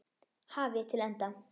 hafi til enda.